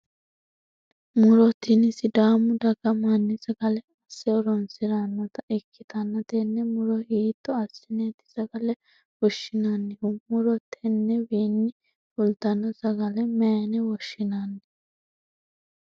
Muro tinni sidaamu daga manni sagale ase horoonsiranota ikitanna tenne muro hiitto asineeeti sagale fushinnannihu? Muro tennewiinni fultano sagale mayine woshinnanni?